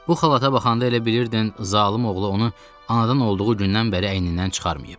Bu xalata baxanda elə bilirdin zalım oğlu onu anadan olduğu gündən bəri əynindən çıxarmayıb.